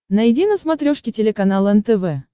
найди на смотрешке телеканал нтв